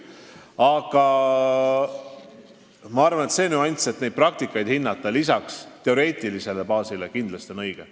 Aga ma arvan, et see, et lisaks teoreetilisele baasile tuleks praktikat hinnata, on kindlasti õige.